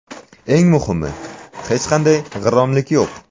Eng muhimi, hech qanday g‘irromlik yo‘q.